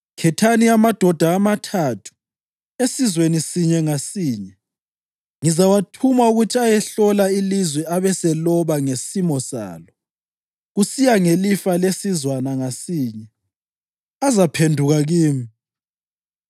Khethani amadoda amathathu esizweni sinye ngasinye. Ngizawathuma ukuthi ayehlola ilizwe abeseloba ngesimo salo, kusiya ngelifa lesizwana ngasinye. Azaphenduka kimi.